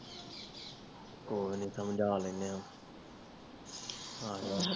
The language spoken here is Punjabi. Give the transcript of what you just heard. ਕੋਈ ਨਹੀਂ ਸਮਜਲੈਣੇ ਆ